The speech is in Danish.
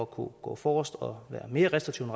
kunne gå forrest og være mere restriktive